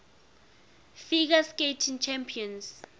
figure skating championships